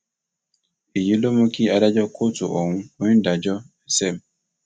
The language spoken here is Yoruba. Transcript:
èyí ló mú kí adájọ kóòtù ohun onídàájọ sm